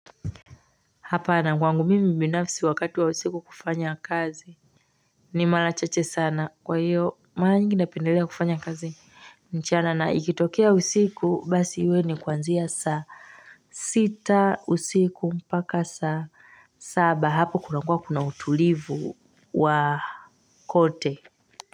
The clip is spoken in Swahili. Hapana kwangu mimi binafsi wakati wa usiku kufanya kazi ni mara chache sana kwa hiyo mara nyingi napendelea kufanya kazi mchana na ikitokea usiku basi iwe ni kuanzia saa sita usiku mpaka saa saba hapo kunakuwa kuna utulivu wa kote.